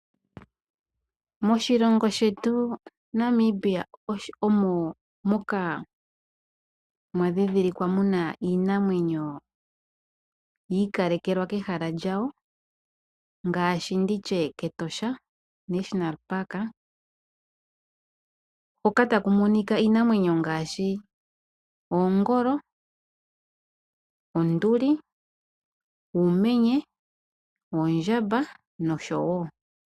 Moshilongo shetu Namibia omo moka mwa dhi dhilikwa muna iinamwenyo yi ikalelwa kehala lyawo. Ngaashi nditye kEtosha National Park. Hoka taku monika iinamwenyo ngaashi oongolo, onduli, uumenye, oondjamba noshowo.